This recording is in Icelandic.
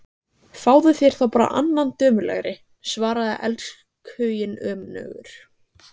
Fáðu þér þá bara annan dömulegri, svaraði elskhuginn önugur.